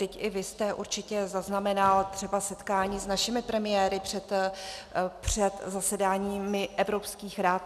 Vždyť i vy jste určitě zaznamenal třeba setkání s našimi premiéry před zasedáními Evropských rad.